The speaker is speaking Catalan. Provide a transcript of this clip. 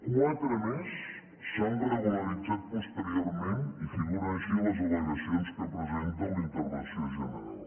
quatre més s’han regularitzat posteriorment i figuren així en les al·legacions que presenta la intervenció general